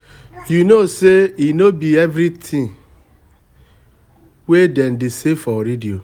you know say e no be everything everything we dey say for radio